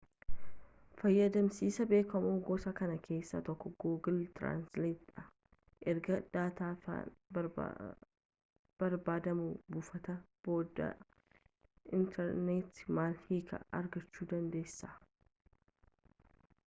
fayyadamsisaa beekamoo gosa kanaa keessa tokko google translate dha erga daataa afaan barbaadamuu buufatanii booda interneeta malee hiika argachuu dandeessisa